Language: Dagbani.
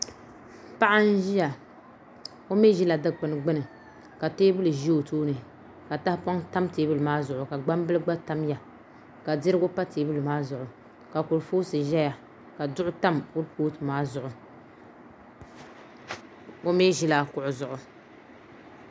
Paɣa n ʒiya o mii ʒila dikpuni gbuni ka teebuli ʒɛ o tooni ka tahaoŋ tam teebuli maa zuɣu ka gbambili gba tamya ka dirigu pa teebuli maa zuɣu ka kurifooti ʒɛya ka duɣu tam kuripooti maa zuɣu o mii ʒila kuɣu zuɣu